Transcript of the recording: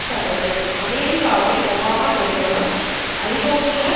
கண்டது அமெரிக்காவின் ஒபாமா நிர்வாகம் ஐரோப்பிய